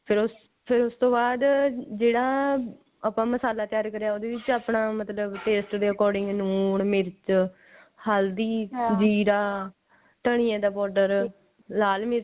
ਫੇਰ ਉਹ ਫੇਰ ਉਸ ਤੋਂ ਬਾਅਦ ਜਿਹੜਾ ਆਪਾ ਮਸਾਲਾ ਤਿਆਰ ਕਰਿਆ ਉਹਦੇ ਵਿੱਚ ਆਪਣਾ ਮਤਲਬ taste ਦੇ according ਨੂਨ ਮਿਰਚ ਹਲਦੀ ਜੀਰਾ ਧਨੀਏ ਦਾ powder ਲਾਲ ਮਿਰਚ